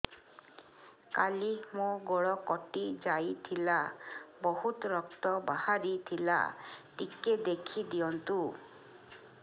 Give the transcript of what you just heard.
କାଲି ମୋ ଗୋଡ଼ କଟି ଯାଇଥିଲା ବହୁତ ରକ୍ତ ବାହାରି ଥିଲା ଟିକେ ଦେଖି ଦିଅନ୍ତୁ